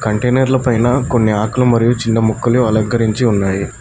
కంటైనర్ల పైన కొన్ని ఆకులు మరియు చిన్న మొక్కలు అలంకరించి ఉన్నాయి.